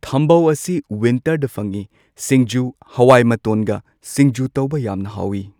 ꯊꯝꯕꯧ ꯑꯁꯤ ꯋꯤꯟꯇꯔꯗ ꯐꯪꯉꯤ ꯁꯤꯡꯖꯨ ꯍꯋꯥꯏꯃꯇꯣꯟꯒ ꯁꯤꯡꯖꯨ ꯇꯧꯕ ꯌꯥꯝꯅ ꯍꯥꯎꯏ꯫